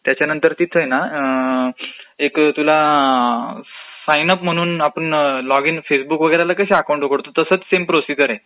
त्याच्यानंतर तिथे हे ना तुला साइन अप म्हणून आपण लॉग इन, फेसबुकला कसं अकाऊंट उघडतो तसचं सेम प्रोसिजर आहे,